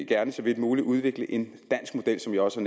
gerne så vidt muligt udvikle en dansk model som jeg også